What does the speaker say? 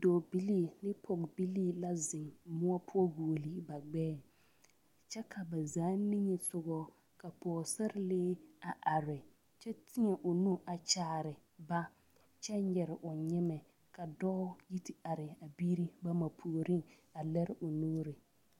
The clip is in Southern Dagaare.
Dɔɔbilii ne pɔgebilii la zeŋ moɔ poɔ guoli ba gbɛɛ kyɛ ka ba zaa niŋesogɔ ka pɔgesarelee a are kyɛ teɛ o nu a kyaare ba kyɛ nyere o nyemɛ ka dɔɔ yi te are a biiri bama puoriŋ a lere o nuuri.